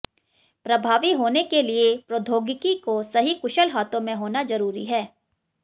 प्रभावी होने के लिए प्रौद्योगिकी को सही कुशल हाथों में होना जरूरी है